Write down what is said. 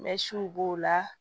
Mɛsiw b'o la